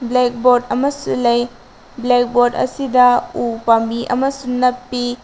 Black ꯕꯣꯔꯗ ꯑꯃꯁꯨ ꯂꯩ ꯕ꯭ꯂꯦꯛ ꯕꯣꯔꯗ ꯑꯁꯤꯗ ꯎ ꯄꯥꯝꯕꯤ ꯑꯃꯁꯨ ꯅꯞꯄꯤ꯫